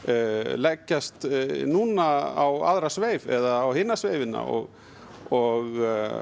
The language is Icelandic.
leggjast núna á aðra sveif eða á hina sveifina og og